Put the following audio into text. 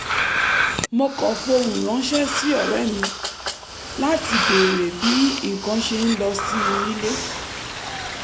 mo kọ fohùn ránṣẹ́ sí ọ̀rẹ́ mi láti béèrè bí nǹkan ṣe ń lọ sí nílé